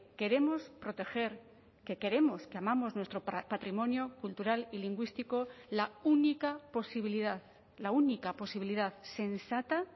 queremos proteger que queremos que amamos nuestro patrimonio cultural y lingüístico la única posibilidad la única posibilidad sensata